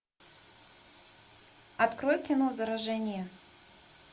открой кино заражение